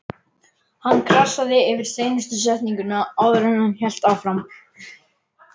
Hann krassaði yfir seinustu setninguna áður en hann hélt áfram.